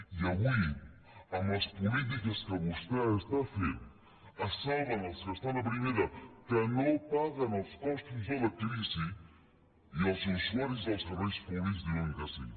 i avui amb les polítiques que vostè està fent se salven els que estan a primera que no paguen els costos de la crisi i els usuaris dels serveis públics diuen que sí